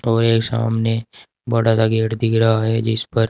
और एक सामने बड़ा सा गेट दिख रहा है जिस पर--